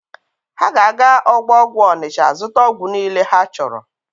Ha ga-aga ọgbọ ọgwụ Ọnịcha zụta ọgwụ niile ha chọrọ.